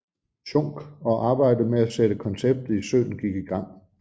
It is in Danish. Schunck og arbejdet med at sætte konceptet i søen gik i gang